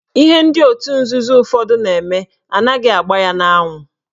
Ihe ndị otu nzuzo ụfọdụ na-eme anaghị agba ya n'anwụ.